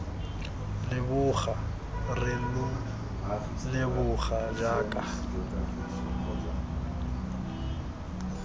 leboga re lo leboga jaaka